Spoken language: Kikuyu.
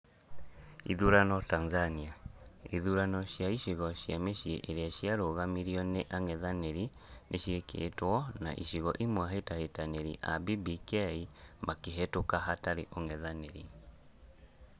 Ithurano Tanzania: Ithurano cia icigo cia mĩciĩ irĩa ciarũgamirio nĩ ang'ethaniri nĩciĩkĩtwo na igĩcigo imwe ahĩtahĩtanĩri a BBK makĩhĩtũka hatarĩ ũng'ethanĩri